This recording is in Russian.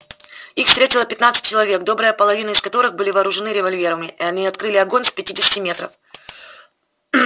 их встретило пятнадцать человек добрая половина из которых были вооружены револьверами и они открыли огонь с пятидесяти метров